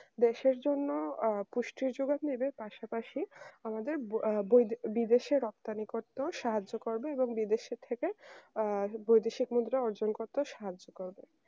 দেশের জন্য আহ পুষ্টি জোগাড় নিতে পাশাপাশি আমাদের বিদেশের সাহায্য করবে এবং বিদেশে থেকে ভবিষ্যৎ মুদ্রা অর্জন করবে করতে সাহায্য করবে।